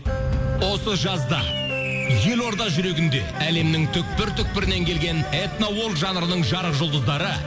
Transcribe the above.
осы жазда елорда жүрегінде әлемнің түпкір түпкірнен келген этно жанрының жарық жұлдыздары